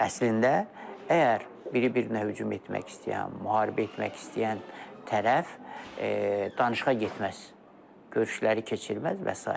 Əslində, əgər biri-birinə hücum etmək istəyən, müharibə etmək istəyən tərəf danışığa getməz, görüşləri keçirməz və sairə.